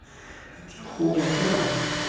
Ela tinha ruga, não tinha nada.